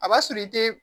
A b'a sɔrɔ i te